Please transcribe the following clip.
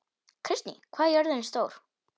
Kristný, hvað er jörðin stór?